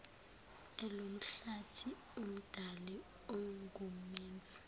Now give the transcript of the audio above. elomhlathi umdali ongumenzi